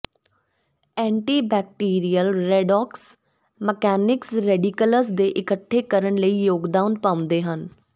antibacterial redox mechanics radicals ਦੇ ਇਕੱਠੇ ਕਰਨ ਲਈ ਯੋਗਦਾਨ ਪਾਉਂਦੇ ਹਨ